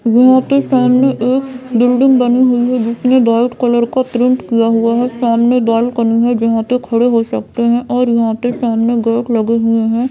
घर के सामने एक बिल्डिंग बनी हुई है जिसमें डार्क कलर का प्रिंट किया हुआ है सामने बालकनी जहां पे खड़े हो सकते है और यहाँ पे सामने गेट लगे हुए हैं।